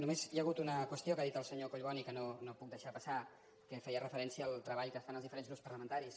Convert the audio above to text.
només hi ha hagut una qüestió que ha dit el senyor collboni que no puc deixar passar que feia referència al treball que fan els diferents grups parlamentaris